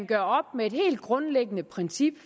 gør op med et helt grundlæggende princip